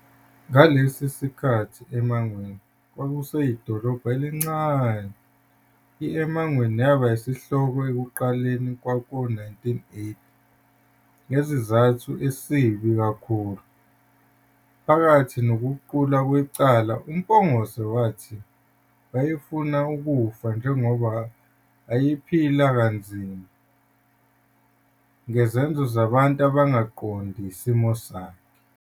Ngalesi sikhathi eMangweni kwakuseyidolobha elincane, i-eMangweni yaba izihloko ekuqaleni kwawo-1980 ngesizathu esibi kakhulu. Phakathi nokuqulwa kwecala uMpungose wathi wayefuna ukufa njengoba ayephila kanzima, ngezenzo zabantu abangaqondi isimo sakhe.